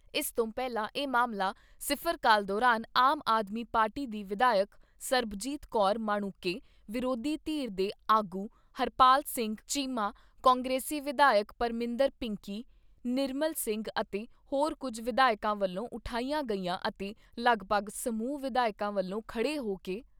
ਇਸ ਤੋਂ ਪਹਿਲਾਂ ਇਹ ਮਾਮਲਾ ਸਿਫ਼ਰ ਕਾਲ ਦੌਰਾਨ ਆਮ ਆਦਮੀ ਪਾਰਟੀ ਦੀ ਵਿਧਾਇਕ ਸਰਬਜੀਤ ਕੌਰ ਮਾਣੂੰਕੇ, ਵਿਰੋਧੀ ਧਿਰ ਦੇ ਆਗੂ ਹਰਪਾਲ ਸਿੰਘ ਚੀਮਾ, ਕਾਂਗਰਸੀ ਵਿਧਾਇਕ ਪਰਮਿੰਦਰ ਪਿੰਕੀ, ਨਿਰਮਲ ਸਿੰਘ ਅਤੇ ਹੋਰ ਕੁੱਝ ਵਿਧਾਇਕਾਂ ਵੱਲੋਂ ਉਠਾਇਆ ਗਿਆ ਅਤੇ ਲਗਭਗ ਸਮੂਹ ਵਿਧਾਇਕਾਂ ਵੱਲੋਂ ਖੜ੍ਹੇ ਹੋ ਕੇ